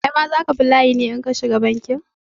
Kai ma za ka bi layi ne in ka shiga bankin?